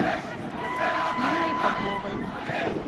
инной поповой